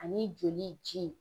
Ani joli ji.